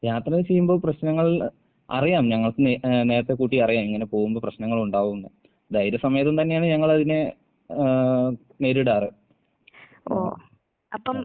യാത്ര ചെയ്യുമ്പോൾ പ്രശ്നങ്ങൾ അറിയാം ഞങ്ങൾക്ക് നേ ഏഹ് നേരെത്തെ കൂട്ടി അറിയാം ഇങ്ങനെ പോവുമ്പോ പ്രശ്നങ്ങൾ ഉണ്ടാകുംന്ന്. ധൈര്യസമേതം തന്നെയാണ് ഞങ്ങളതിനെ ഏഹ് നേരിടാറ്. ഉം.